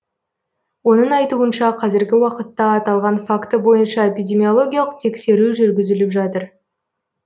оның айтуынша қазіргі уақытта аталған факті бойынша эпидемиологиялық тексеру жүргізіліп жатыр